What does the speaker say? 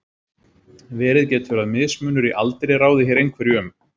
Verið getur að mismunur í aldri ráði hér einhverju um.